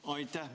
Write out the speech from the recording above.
Aitäh!